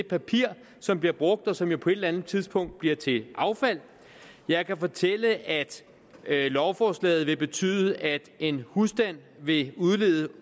papir som bliver brugt og som jo på et eller andet tidspunkt bliver til affald jeg kan fortælle at lovforslaget vil betyde at en husstand vil udlede